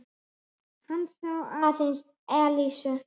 Hann sá aðeins Elísu.